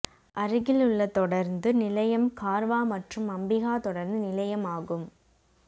அருகில் உள்ள தொடருந்து நிலையம் கார்வா மற்றும் அம்பிகா தொடருந்து நிலையம் ஆகும்